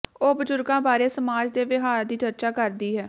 ਉਹ ਬਜ਼ੁਰਗਾਂ ਬਾਰੇ ਸਮਾਜ ਦੇ ਵਿਹਾਰ ਦੀ ਚਰਚਾ ਕਰਦੀ ਹੈ